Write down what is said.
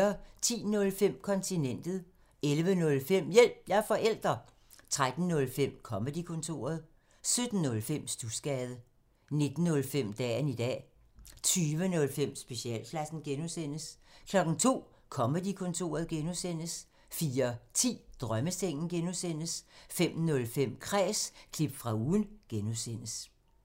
10:05: Kontinentet 11:05: Hjælp – jeg er forælder! 13:05: Comedy-kontoret 17:05: Studsgade 19:05: Dagen i dag 20:05: Specialklassen (G) 02:00: Comedy-kontoret (G) 04:10: Drømmesengen (G) 05:05: Kræs – klip fra ugen (G)